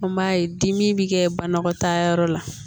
An b'a ye dimi bɛ kɛ banakɔtaayɔrɔ la